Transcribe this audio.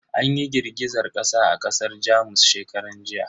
An yi girgizar kasa a kasar Jamus shekaran jiya.